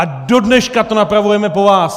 A dodneška to napravujeme po vás!